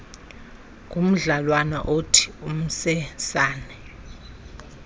kumdlalwana othi umsesane